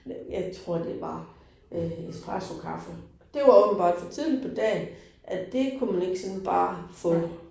Øh jeg tror det var øh espressokaffe. Det var åbenbart for tidligt på dagen, at det kunne man ikke sådan bare få